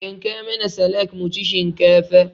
yanka mana salak muci shinkafa